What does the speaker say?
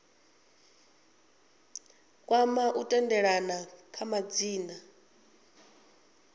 kwama u tendelana kha madzina